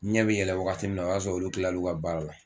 N ɲɛ be yɛlɛ wagati min na o y'a sɔrɔ olu kilala i ka baara la